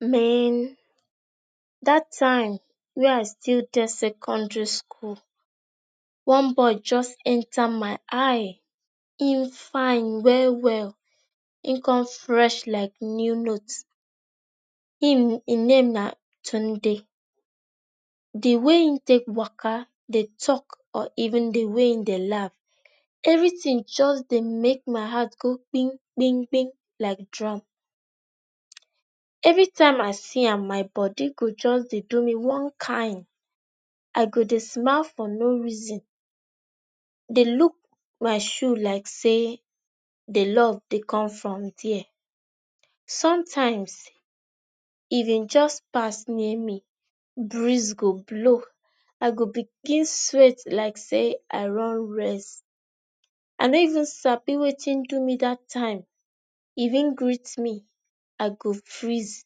Mehn, that time wey I still dey secondary school, one boy just enter my eye. En fine well well e con fresh like new note. Em en name na Tunde. The way e take waka Dey talk or even the way wey e Dey laugh everything just Dey make my heart Dey go gbim gbim gbim like drum. Every time I see am my body go just Dey do me one kain. I go Dey smile for no reason Dey look my shoe like say, d love Dey come from there. sometimes if en, just pass near me, breeze go blow. I go begin sweat like say I run race. I no even sabi Wetin do me that time. If en greet me, I go freeze.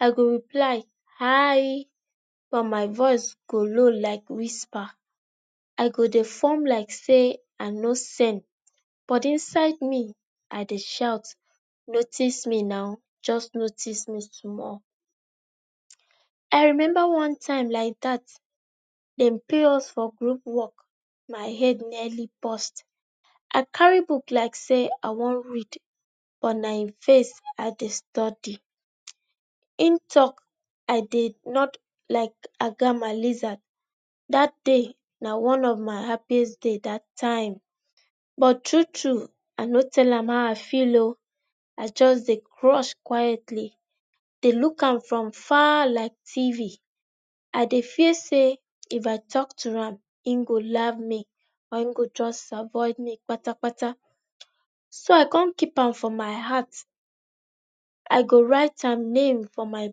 I go reply ‘Hi’ but my voice go low like whisper. I go Dey form like say I no send but inside me I Dey shout, ‘notice me naw, just notice me small’. um I remember one time like that, dem pair us for group work my head nearly burst. I carry book like say I wan read but na e face I Dey study. En talk I Dey nod like agama lizard. That day na one of my happiest day that time but true true i no tell am how I feel ooo. I just Dey crush quietly dey look am from far like Tv. I Dey feel say if I talk to am en go laugh me or e go just avoid me kpatakpata. so I come keep am from my heart. I go write am name for my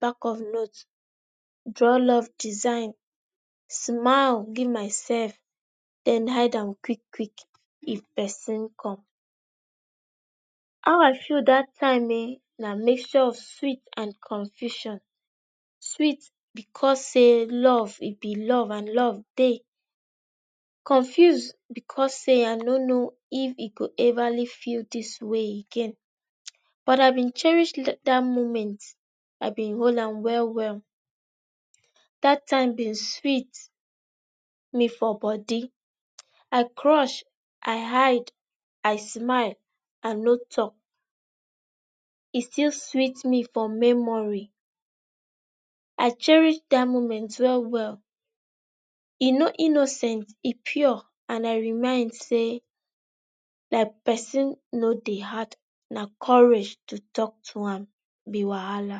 back of note, draw love design, smile give myself then hide am quick quick if pesin come How I feel that time ehen, na mixture of sweet and confusion. Sweet because say love e be love and love Dey. Confuse because say I no know if e go everly feel this way again but I bin cherish that moment i bin hol am well well that time bin sweet me for body. I crush, i hide, i smile, I no talk. e still sweet me for memory. I cherish that moment well well. E no innocent e pure and I remind say na person no Dey hard na courage to talk to am na wahala.